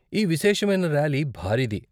ఈ విశేషమైన ర్యాలీ భారీది.